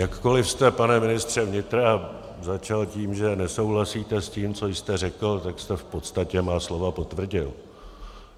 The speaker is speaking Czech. Jakkoli jste, pane ministře vnitra, začal tím, že nesouhlasíte s tím, co jste řekl, tak jste v podstatě má slova potvrdil.